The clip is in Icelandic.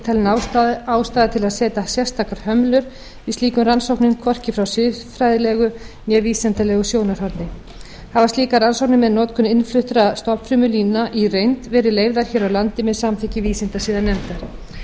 talin ástæða til að setja sérstakar hömlur við slíkum rannsóknum hvorki frá siðfræðilegu né vísindalegu sjónarhorni hafa slíkar rannsóknir með notkun innfluttra stofnfrumulína í reynd verið leyfðar hér á landi með samþykki vísindasiðanefndar